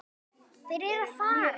Þeir eru að fara.